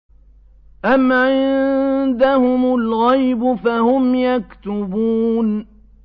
أَمْ عِندَهُمُ الْغَيْبُ فَهُمْ يَكْتُبُونَ